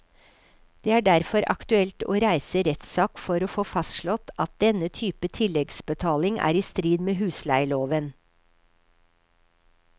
Det er derfor aktuelt å reise rettssak for å få fastslått at denne type tilleggsbetaling er i strid med husleieloven.